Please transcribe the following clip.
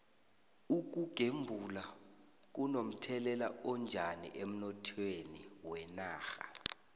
ukugembula kuno mthelela onjani emnothweni wenarha